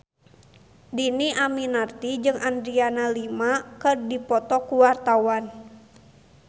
Dhini Aminarti jeung Adriana Lima keur dipoto ku wartawan